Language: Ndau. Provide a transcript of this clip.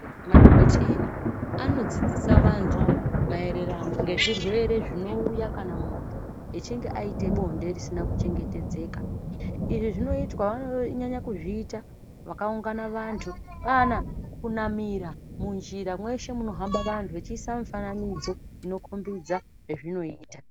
Madhogodheya anodzidzisa vantu marererano nezvirwere zvinouya kana muntu achinge aite bonde risina kuchengetedzeka izvi wanonyanya kuzviita pakaungana vantu kana kunamira munjira mese mufamba vanhu vachiisa mufananidzo inokombidza.